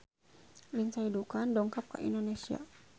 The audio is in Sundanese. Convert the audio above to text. Lindsay Ducan dongkap ka Indonesia